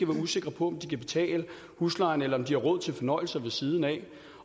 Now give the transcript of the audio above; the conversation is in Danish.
usikre på om de kan betale huslejen eller om de har råd til fornøjelser ved siden af